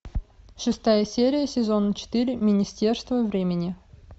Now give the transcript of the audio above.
шестая серия сезона четыре министерство времени